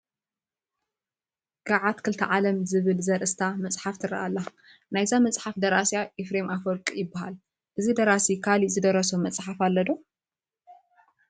ገዓት ክልተ ዓለም ዝብል ዘርእስታ መፅሓፍ ትርአ ኣላ፡፡ ናይዛ መፅሓፍ ደራሲ ኤፍሬም ኣፈወርቅ ይበሃል፡፡ እዚ ደራሲ ካልእ ዝደረሶ መፅሓፍ ኣሎ ዶ